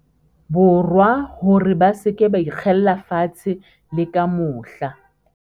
Borwa hore ba se ke ba ikgella fatshe le ka mohla.